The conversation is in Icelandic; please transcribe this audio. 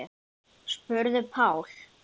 spurði Páll.